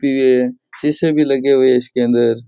शीशे भी लगे हुए है इसके अंदर।